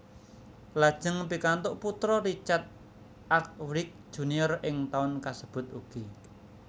Lajeng pikantuk putra Richard Arkwright Junior ing taun kasebut ugi